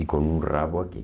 E com um rabo aqui.